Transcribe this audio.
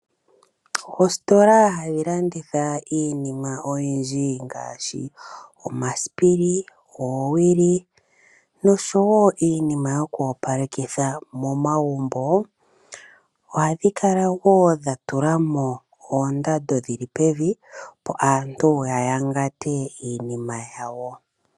Oositola hadhi landitha iinima oyindji ngaashi omasipili ,oowili ,oshowo iinima yoku opalekitha momagumbo ohadhi kala woo dhatulamo oondando dhili pevi opo aantu ya yangate iinima yawo.